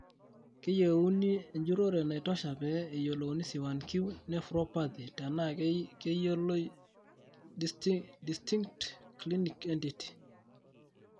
keyionu enjurore naitosha pee eyiolouni C1q nephropathy tenaa keyioloi distinct clinical entity.